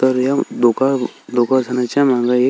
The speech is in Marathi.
तर या दोघा दोघाजनाच्या माग एक--